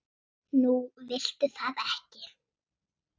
Nú viltu það ekki?